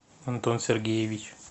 антон сергеевич